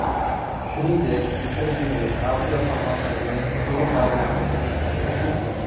Shuningdek, intervyuning audio formatdagi to‘liq variantini eshitishingiz mumkin.